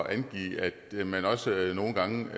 med at man også nogle gange